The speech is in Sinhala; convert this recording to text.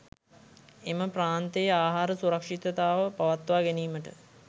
එම ප්‍රාන්තයේ ආහාර සුරක්ෂිතතාව පවත්වා ගැනීමට